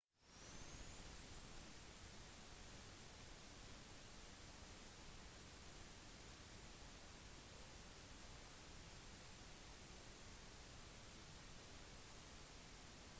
i dag tidlig var vindkastene nede i rundt 83 km/t og det var forventet at de ville fortsette å svekkes